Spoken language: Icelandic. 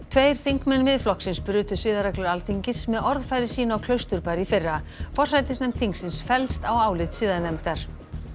tveir þingmenn Miðflokksins brutu siðareglur Alþingis með orðfæri sínu á Klausturbar í fyrra forsætisnefnd þingsins fellst á álit siðanefndar